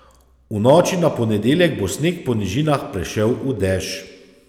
V noči na ponedeljek bo sneg po nižinah prešel v dež.